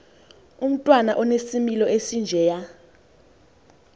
umntwana onesimilo esinjeya